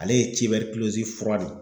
Ale ye cibɛrikulozi, fura de ye